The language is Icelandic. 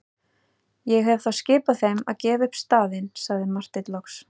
Ég hef þá skipað þeim að gefa upp staðinn, sagði Marteinn loks.